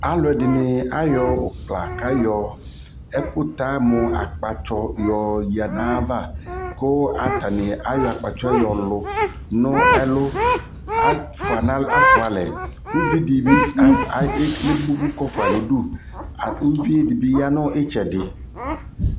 alʋɛdini dini ayɔ () kayɔ ɛkʋta mʋ akpatsɔ yɔ yanʋ aɣa kʋ atani ayɔ akpatsɔɛ yɔlʋ nʋ ɛlʋ, aƒʋa alɛ kʋ ʋvidi dibi ɛbɔ ʋvʋ kʋ ɔƒʋai nʋdʋ lakʋ ʋviɛ ɛdibi yanʋ ɛtsɛdɛ